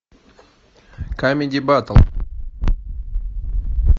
камеди баттл